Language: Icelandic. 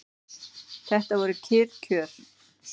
Þetta voru kyrr kjör.